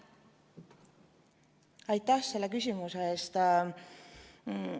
Aitäh selle küsimuse eest!